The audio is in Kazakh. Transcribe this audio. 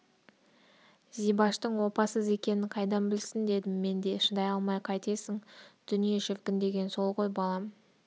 зибаштың опасыз екенін қайдан білсін дедім мен де шыдай алмай қайтесің дүние шіркін деген сол ғой балам